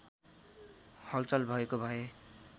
हलचल भएको भए